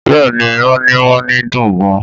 Bẹ́ẹ̀ ni, moninmonin dùn gan-an